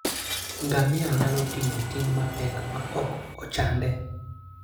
Ngamia nyalo ting'o ting' mapek maok ochande.